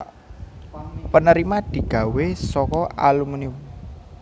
penerima digawe saka alumunium